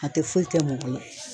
A tɛ foyi kɛ mɔgɔ la.